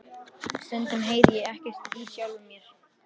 Stundum heyri ég ekki í sjálfum mér.